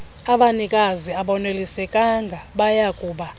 abanikazi abonelisekanga bayakuba